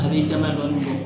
A bɛ damadɔni